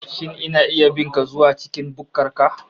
Shin ina iya bin ka zuwa cikin bukkar ka